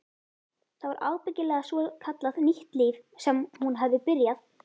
Það var ábyggilega svokallað nýtt líf sem hún hafði byrjað.